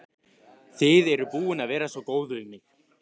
Þið eruð búin að vera svo góð við mig.